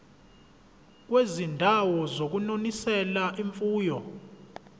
kwizindawo zokunonisela imfuyo